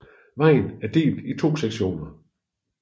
Vejen er delt i to sektioner